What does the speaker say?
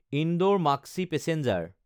Indore-Maksi passenger